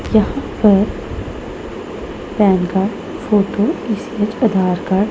यहां पर PAN card photo Aadhaar card --